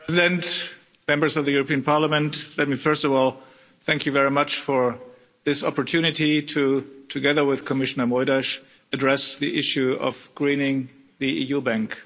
Mr President, Members of the European Parliament, let me, first of all, thank you very much for this opportunity to, together with Commissioner Moedas, address the issue of greening the EU bank.